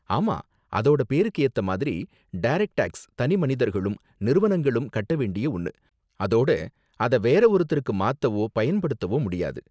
ஆமா, அதோட பேருக்கு ஏத்த மாதிரி, டரக்ட் டேக்ஸ் தனிமனிதர்களும், நிறுவனங்களும் கட்ட வேண்டிய ஒன்னு, அதோட அத வேறு ஒருத்தருக்கு மாத்தவோ பயன்படுத்தவோ முடியாது.